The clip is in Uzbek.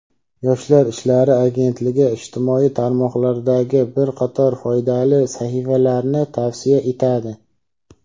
Yoshlar ishlari agentligi ijtimoiy tarmoqlardagi bir qator foydali sahifalarni tavsiya etadi:.